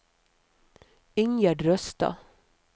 Ingjerd Røstad